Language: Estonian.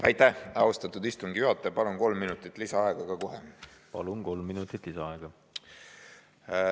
Aitäh, austatud istungi juhataja, palun kohe kolm minutit lisaaega!